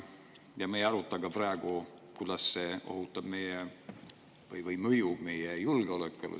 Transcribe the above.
Me ei aruta praegu, kuidas see mõjub meie julgeolekule.